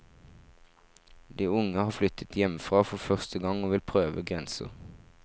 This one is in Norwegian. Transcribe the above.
De er unge, har flyttet hjemmefra for første gang og vil prøve grenser.